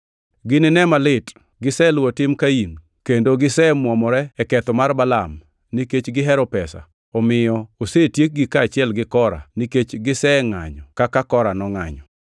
Ginine malit! Giseluwo tim Kain, kendo gisemwomore e ketho mar Balaam nikech gihero pesa, omiyo osetiekgi kaachiel gi Kora nikech gisengʼanyo kaka Kora nongʼanyo.